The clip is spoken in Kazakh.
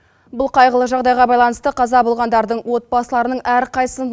бұл қайғылы жағдайға баланысты қаза болғандардың отбасыларының әрқайсысын